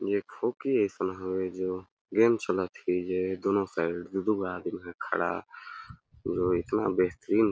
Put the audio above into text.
एक ठो की अइसन हवे जो गॆम चलत हे जे दूनो साइड दू - दू गो आदमी मन खड़ा हे जोकि एतना बेहतरीन--